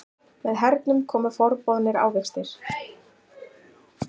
Með hernum komu forboðnir ávextir.